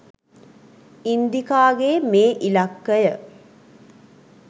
ඉන්දිකාගේ මේ ඉලක්කය?